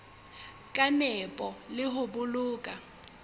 ka nepo le ho boloka